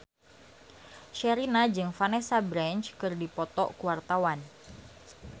Sherina jeung Vanessa Branch keur dipoto ku wartawan